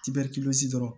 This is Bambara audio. Tibɛri dɔrɔn